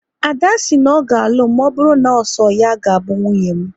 Ada si na ọ ga alụ m maọbụru na so ya ga bụ nwunye m